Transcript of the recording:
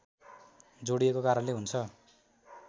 जोडिएको कारणले हुन्छ